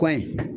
Kɔ in